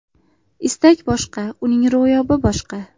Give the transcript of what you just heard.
Istak boshqa, uning ro‘yobi boshqa.